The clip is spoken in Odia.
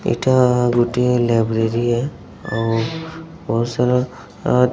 ଏଇଟା ଗୋଟିଏ ଲାଇବ୍ରେରୀ ହେ ଆଉ ବହୁତସାରା ଆଁ